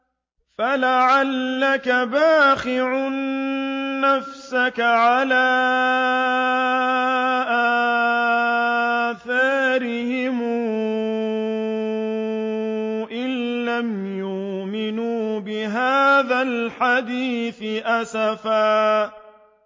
فَلَعَلَّكَ بَاخِعٌ نَّفْسَكَ عَلَىٰ آثَارِهِمْ إِن لَّمْ يُؤْمِنُوا بِهَٰذَا الْحَدِيثِ أَسَفًا